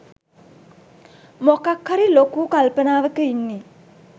මොකක් හරි ලොකු කල්පනාවක ඉන්නේ